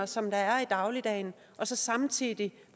som der er i dagligdagen og så samtidig